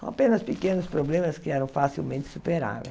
Com apenas pequenos problemas que eram facilmente superáveis.